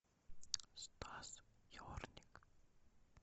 стас ерник